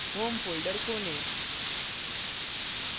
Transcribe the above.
home folder खोलें